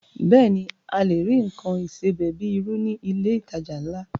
Bẹ́ẹ̀ ni, a lè rí nǹkan ìsebẹ̀ bíi irú ní ilé ìtajà ńlá